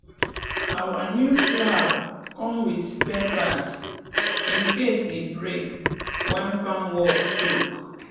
our new plow come with spare parts in case e break when farm work choke.